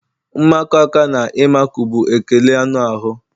Mmakọ aka na ịmakụ bụ ekele anụ ahụ.